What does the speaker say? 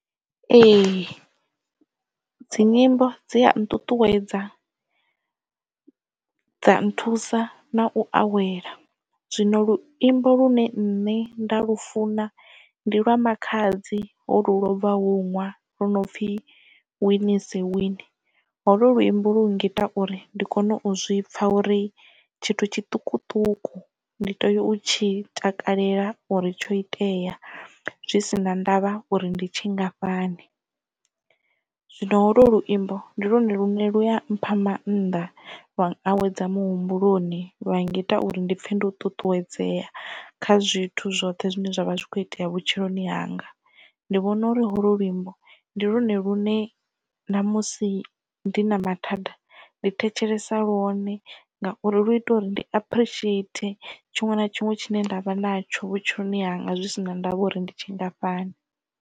Ee dzi nyimbo dzi a nṱuṱuwedza dza nthusa na u awela zwino luimbo lune nne nda lufuna ndi lwa makhadzi holu lobvaho hono nwaha lu no pfhi win is a win holo luimbo lu ngita uri ndi kone u zwi pfa uri tshithu tshiṱukuṱuku ndi tea u tshi takalela uri tsho itea zwi si na ndavha uri ndi tshingafhani zwino holo luimbo ndi lwone lune luya mpha maanḓa lwa awedza muhumbuloni lwa ngita uri ndi pfhe ndi u ṱuṱuwedzea kha zwithu zwoṱhe zwine zwavha zwi kho itea vhutshiloni hanga ndi vhona uri ho lwo luimbo ndi lwone lune ṋamusi ndi na mathada ndi thetshelesa lwone ngauri lu ita uri ndi aphurishieithe tshiṅwe na tshiṅwe tshine nda vha natsho vhutshiloni hanga zwi si na ndavha uri ndi tshingafhani.